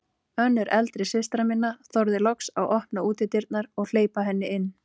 Önnur eldri systra minna þorði loks að opna útidyrnar og hleypa henni inn.